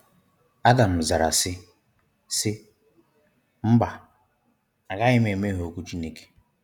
Adam zara sị, sị, “Mba! a gaghị m emehie okwu Chineke”.